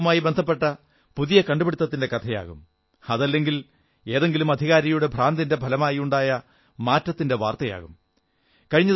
ചിലപ്പോൾ ശുചിത്വവുമായി ബന്ധപ്പെട്ട പുതിയ കണ്ടുപിടുത്തത്തിന്റെ കഥയാകും അതല്ലെങ്കിൽ ഏതെങ്കിലും അധികാരിയുടെ ഭ്രാന്തിന്റെ ഫലമായി ഉണ്ടായ മാറ്റത്തിന്റെ വാർത്തയാകും